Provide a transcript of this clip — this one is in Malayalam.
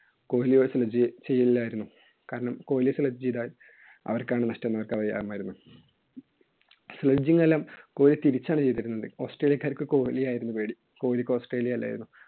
കോഹ്ലിയോട് Sledging ചെയ്യില്ലായിരുന്നു. കാരണം കോഹ്ലിയെ sledge ചെയ്‌താല്‍ അവര്‍ക്കാണ് നഷ്ട്ടം അവര്‍ക്കറിയാമായിരുന്നു. sledging എല്ലാം കോഹ്ലി തിരിച്ചായിരുന്നു ചെയ്തിരുന്നത്. ഓസ്‌ട്രേലിയക്കാർക്ക് കൊഹ്‌ലിയെ ആയിരുന്നു പേടി. കോഹ്‌ലിക്ക് ഓസ്‌ട്രേലിയെ അല്ലായിരുന്നു.